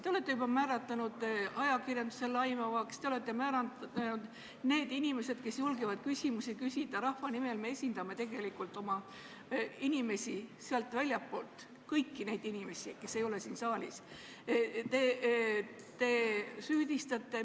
Te olete juba määratlenud, et ajakirjandus on laimav, te olete neid inimesi, kes julgevad küsimusi küsida rahva nimel – me esindame inimesi väljastpoolt, kõiki neid inimesi, kes ei ole siin saalis – süüdistanud ...